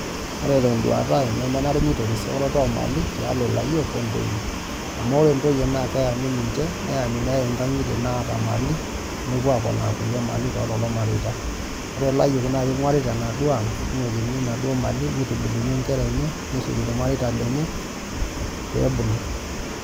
Ore tenduata aai nemenare nitorisi eoroto ormali tialo layiok ontoyie amu ore ntoyie na keyami nepuob nkangitie naata mali nepuo aponaa mali ormareita ore layiok na ina aang ingurita ningukini naduo mali irmareita lenye pebulu .